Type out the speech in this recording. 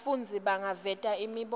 bafundzi bangaveta imibono